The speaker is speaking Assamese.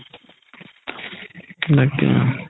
তাকেই আৰু